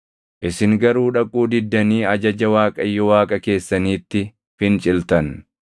Isin garuu dhaquu diddanii ajaja Waaqayyo Waaqa keessaniitti finciltan.